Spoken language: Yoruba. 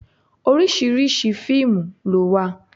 Oríṣiríṣi fíìmù ló wà.